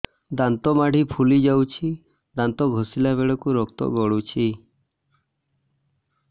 ଦାନ୍ତ ମାଢ଼ୀ ଫୁଲି ଯାଉଛି ଦାନ୍ତ ଘଷିଲା ବେଳକୁ ରକ୍ତ ଗଳୁଛି